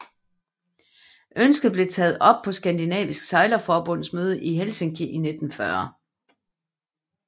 Ønsket blev taget op på Skandinavisk Sejlerforbunds møde i Helsinki i 1940